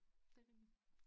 Det rigtig